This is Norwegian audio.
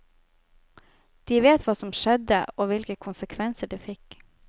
De vet hva som skjedde, og hvilke konsekvenser det fikk.